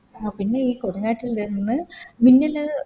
ആ പിന്നെയി കൊടുംകാട്ടിൽ നിന്ന് മിന്നല്